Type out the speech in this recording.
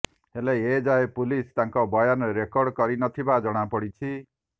ହେଲେ ଏଯାଏ ପୁଲିସ୍ ତାଙ୍କର ବୟାନ ରେକର୍ଡ କରି ନଥିବା ଜଣାପଡ଼ିଛି